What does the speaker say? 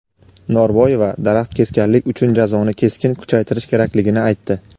Norboyeva daraxt kesganlik uchun jazoni keskin kuchaytirish kerakligini aytdi.